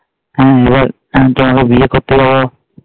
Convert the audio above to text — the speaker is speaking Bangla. হ্যাঁ এবার শান্ত ভাবে বিয়ে করতে যাবো